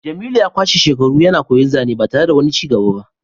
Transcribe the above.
jemilu ya kwashe shekaru yana koyan zane ba tare da wani cigaba ba